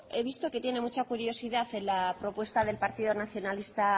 he visto que tiene mucha curiosidad en la propuesta del partido nacionalista